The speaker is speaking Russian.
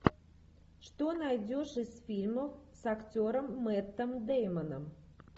что найдешь из фильмов с актером мэттом дэймоном